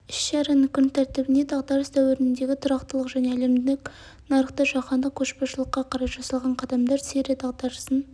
іс-шараның күн тәртібіне дағдарыс дәуіріндегі тұрақтылық және әлемдік нарықта жаһандық көшбасшылыққа қарай жасалған қадамдар сирия дағдарысын